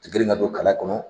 Ka girin ka don kala kɔnɔ